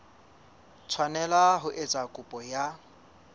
tshwanela ho etsa kopo ya